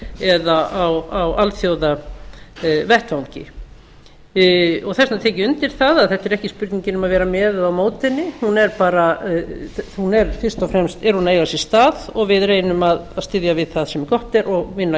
eða á alþjóðavettvangi þess vegna tek ég undir það að þetta er ekki spurningin um að vera með eða á móti henni fyrst og fremst er hún að eiga sér stað og við reynum að styðja við það sem gott er og vinna